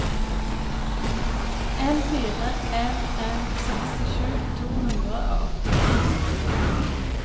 en fire en en sekstisju to hundre og åttito